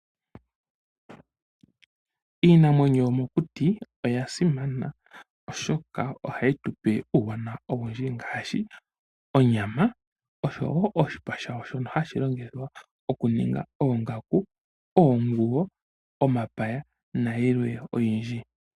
Iinamwenyo yomokuti oya simana, oshoka ohayi tu pe uuwanawa owindji ngaashi: onyama, oshowo oshipa shayo shoka hashi longithwa okuninga oongaku, oomwigo, omapaya nayilwe oyindji.